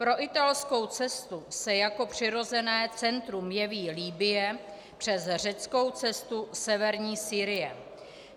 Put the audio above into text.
Pro italskou cestu se jako přirozené centrum jeví Libye, přes řeckou cestu severní Sýrie.